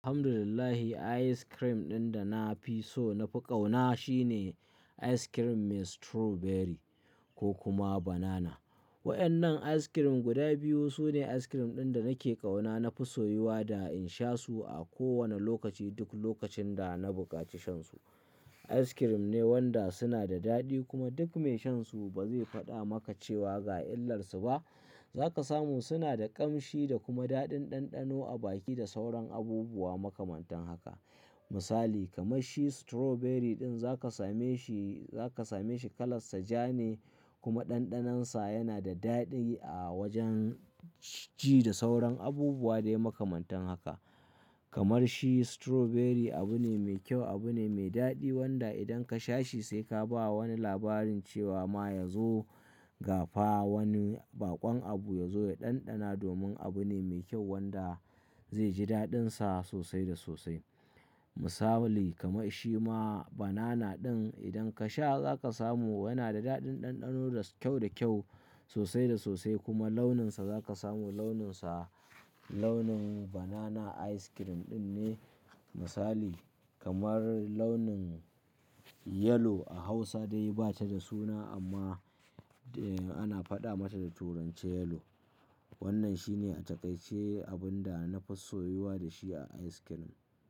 Alhamdulillahi ice cream ɗin da na fi so na fi ƙauna shine ice cream mai strawberry ko kuma banana. Waƴannan ice cream guda biyu su ne ice cream ɗin da nake ƙauna, na fi soyuwa da in sha su a kowane lokaci, duk lokacin da na buƙaci shan su. Ice cream ne wanda suna da daɗi kuma duk mai shan su ba zai faɗa maka cewa ga illar su ba. Za ka samu suna da ƙamshi da kuma daɗin ɗanɗano a baki da sauran abubuwa makamantan haka. Misali kamar shi strawberry ɗin za ka same shi, za ka same shi kalan sa ja ne kuma ɗanɗanon sa yana da daɗi a wajen ci da sauran abubuwa dai makamantan haka. Kamar shi strawberry abu ne mai kyau, abu ne mai daɗi wanda idan ka sha shi sai ka ba wani labarin cewa ma ya zo ga fa wani baƙon abu ya zo ya ɗanɗana domin abu ne mai kyau wanda zai ji daɗin sa sosai da sosai. Misali kamar shi ma banana ɗin idan ka sha za ka samu yana da daɗin ɗanɗano da kyau da kyau sosai da sosai kuma launin sa za ka samu launin sa launin banana ice cream ɗin ne misali kamar launin yellow a Hausa dai ba ta da suna amma eh ana faɗa mata da turanci yellow. Wannan shi ne a takaice abun da na fi soyuwa da shi a ice cream.